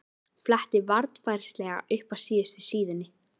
Fletti varfærnislega upp að síðustu síðunni.